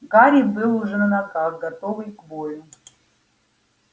гарри был уже на ногах готовый к бою